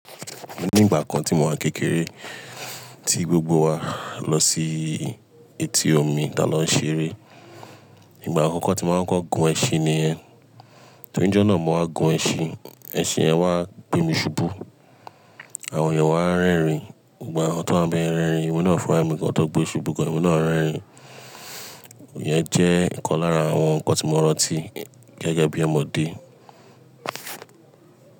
Ní ìgbà kan tí mo wá kékeré, tí gbogbo wa lọ sí etí omi táa lọ ṣeré. Ìgbà àkọ́kọ́ tí mo máa ń kọ kọ gun ẹṣin ni ẹ. Tòjú ọ̀nà mo máa gun ẹṣin, ẹṣin ẹ wá gbé mi ṣubú. Àwọn èèyàn wá ń rẹ́rìn-ín, gbogbo awon tọ wà n bẹ rẹ́rìn-ín, emi náà fún ra mi gan tọ̀ gbé ṣubú gan emi na rẹ́rìn-ín. Ìyẹn jẹ́ nnkan lára àwọn nǹkan tí mo rántí gẹ́gẹ́ bí Ọmọdé.